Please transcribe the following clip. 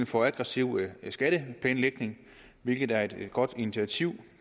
for aggressiv skatteplanlægning hvilket er et godt initiativ